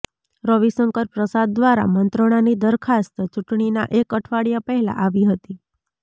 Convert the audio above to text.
રવિશંકર પ્રસાદ દ્વારા મંત્રણાની દરખાસ્ત ચૂંટણીના એક અઠવાડિયા પહેલા આવી હતી